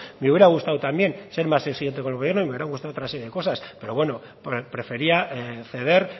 me hubiera gustado también ser más exigente con el gobierno y me hubiera gustado otra serie de cosas pero bueno prefería ceder